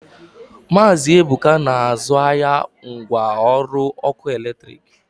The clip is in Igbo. Maazi Ebuka na-azụ ahịa ngwa ọrụ ọkụ eletrik.